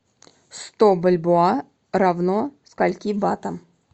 сто бальбоа равно скольки батам